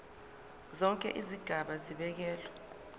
zonke izigaba zibekelwe